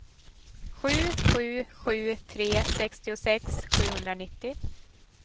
sju sju sju tre sextiosex sjuhundranittio